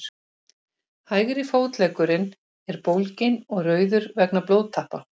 hægri fótleggurinn er bólginn og rauður vegna blóðtappa